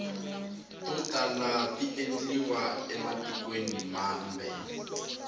to tala tiendliwa ematikweni mambe